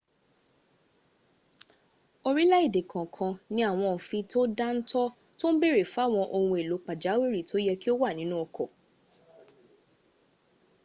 orílẹ̀èdè kọ̀ọ̀kan ní àwọn òfin tó dá ń tọ́ tó ń bèèrè fáwọn ohun èlò pàjáwìrì tó yẹ kí ó wà nínú ọkọ̀